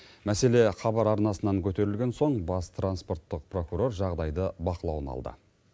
мәселе хабар арнасынан көтерілген соң бас транспорттық прокурор жағдайды бақылауына алды